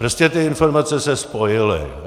Prostě ty informace se spojily.